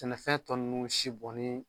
Tɛnɛfɛn tɔ nunnu si bɔnni